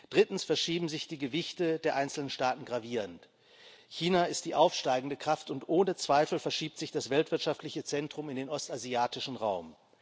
Drittens verschieben sich die Gewichte der einzelnen Staaten gravierend. China ist die aufsteigende Kraft, und ohne Zweifel verschiebt sich das weltwirtschaftliche Zentrum in den ostasiatischen Raum.